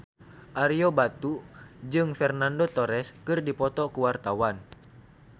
Ario Batu jeung Fernando Torres keur dipoto ku wartawan